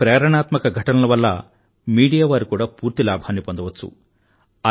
ఇలాంటి ప్రేరణాత్మక ఘటనల వల్ల మీడియా వారు కూడా పూర్తి లాభాన్ని పొందవచ్చు